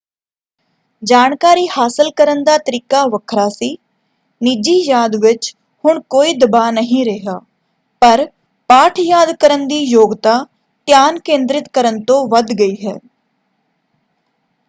ਜਾਣਕਾਰੀ ਹਾਸਲ ਕਰਨ ਦਾ ਤਰੀਕਾ ਵੱਖਰਾ ਸੀ। ਨਿੱਜੀ ਯਾਦ ਵਿੱਚ ਹੁਣ ਕੋਈ ਦਬਾਅ ਨਹੀਂ ਰਿਹਾ ਪਰ ਪਾਠ ਯਾਦ ਕਰਨ ਦੀ ਯੋਗਤਾ ਧਿਆਨ ਕੇਂਦਰਿਤ ਕਰਨ ਤੋਂ ਵੱਧ ਗਈ ਹੈ।